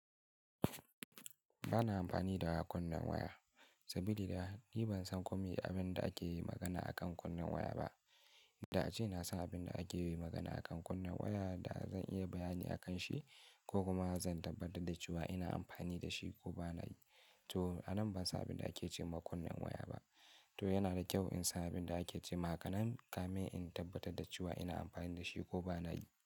Ba na amfani da kunnan waya, sabi da ni ban san komai abin da ake magana a kan kunnan waya ba. Da ace na san abin da ake yin magana a kan kunnan waya da zan iya bayani a kan shi ko kuma zan tabbatar da cewa ina amfani da shi ko bana yi. To a nan ban san abin da ake cewa kunnan waya ba. To yana da kyau in san abin da ake ce hakanan kamin in tabbatar da cewa ina amfani da shi ko bana yi.